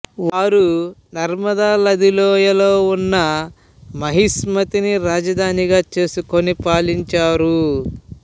వారు నర్మదా నది లోయలో ఉన్న మహిస్మతిని రాజధానిగా చేసుకుని పాలించారు